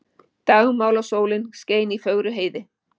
Dagmálasólin skein í fögru heiði.